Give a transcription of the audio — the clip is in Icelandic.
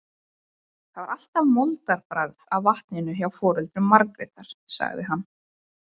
Það var alltaf moldarbragð af vatninu hjá foreldrum Margrétar, sagði hann.